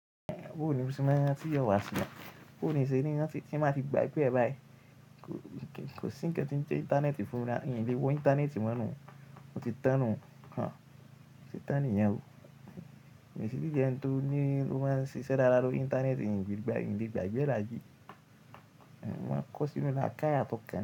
Bo nì o ṣe máa rántí iwá sí. Bo nì n ṣe ni rántí tí n bá ti gbàgbé e báyi. Kò sí ń kan tí ń jẹ íńtánẹ́ẹ̀tì fúnra, min lè wo íńtánẹ́ẹ̀tì mọ́ nu, ó ti tán nú. À, ó ti tán ni yẹn o. Èmi sì tí jẹ́ ẹni tó ní ó máa ń ṣiṣẹ́ dáadáa lórí íńtánẹ́ẹ̀tì n lè gbà n lè gbàgbé ẹ́ làye. Wọ́n máa ń kọ́ sínú láakàyi àti ókàn.